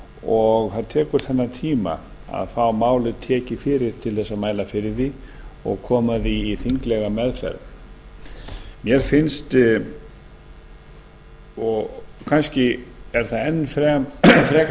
og það tekur þennan tíma að fá málið tekið fyrir til að mæla fyrir því og koma því í þinglega meðferð mér finnst og kannski er það enn frekar